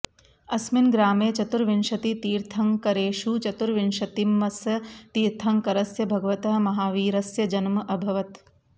अस्मिन् ग्रामे चतुर्विंशतितीर्थङ्करेषु चतुर्विंशतितमस्य तीर्थङ्करस्य भगवतः महावीरस्य जन्म अभवत्